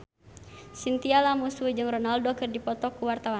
Chintya Lamusu jeung Ronaldo keur dipoto ku wartawan